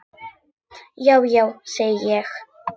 Já, já, segi ég.